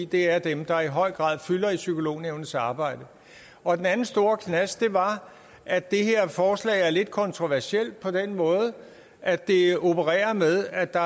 det er dem der i høj grad fylder i psykolognævnets arbejde og den anden store knast var at det her forslag er lidt kontroversielt på den måde at det opererer med at der